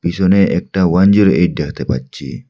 পিছনে একটা one zero eight দেখতে পাচ্ছি।